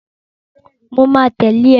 Mo ma tẹ̀lę ë.